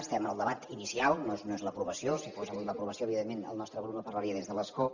som en el debat inicial no és l’aprovació si fos avui l’aprovació evidentment el nostre grup no parlaria des de l’escó